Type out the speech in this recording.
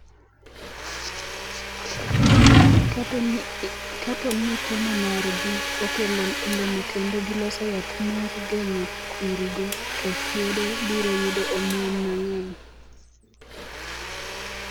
Kapo ni temo margi okelo olemo kendo giloso yath mar geng’o kwirigo, to Friede biro yudo omuom mang’eny